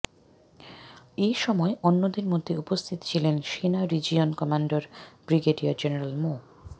এ সময় অন্যদের মধ্যে উপস্থিত ছিলেন সেনা রিজিয়ন কমান্ডার ব্রিগেডিয়ার জেনারেল মো